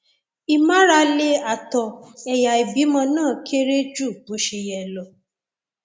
ìmárale ààtọ ẹyà ìbímọ náà kéré ju bó ṣe yẹ lọ